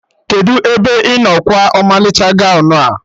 Kedụ ebe ị nọ kwa ọmalịcha gọwn a?